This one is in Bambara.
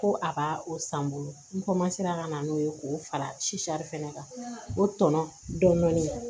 Ko a b'a o san n bolo n ka na n'o ye k'o fara fɛnɛ kan o tɔnɔ dɔɔnin